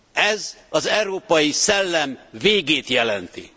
Ez az európai szellem végét jelenti.